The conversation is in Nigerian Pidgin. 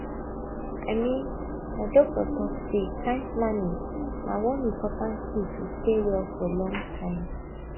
i mean my doctor talk say time planning na one important key to stay well for long time